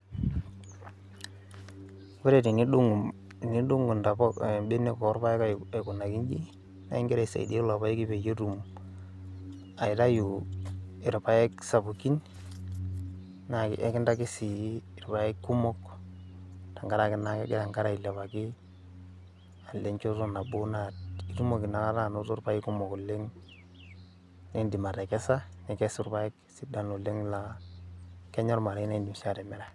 ore tenidung intapuka, tenidug' ibenek oorpaek aikunaki iji, naa igira aisaidia ilo paeki peyie etum aitayu irpaek sapukin, naa eikintaki sii irpaek kumok, tenkaraki naa kegira enkare ailepaki, alo enchoto nabo naa itumoki naa ake anoto irpaek kumok oleng, naa idim atekesa, aikesu irpaek sidan oleng aa kenya ormarei nidim sii atimira.